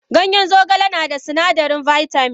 Ganyen zogale nada sunadarin bitamin.